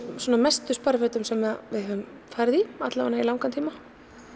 mestu sparifötum sem við höfum farið í alla vega í langan tíma